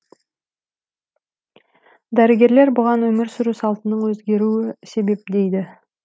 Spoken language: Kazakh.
дәрігерлер бұған өмір сүру салтының өзгеруі себеп дейді